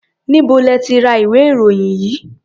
Níbo lẹ ti ra ìwé-ìròyìn yìí?